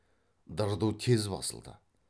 дырду тез басылды